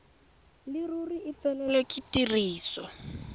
leruri e felelwe ke tiriso